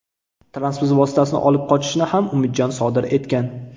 Transport vositasini olib qochishni ham Umidjon sodir etgan.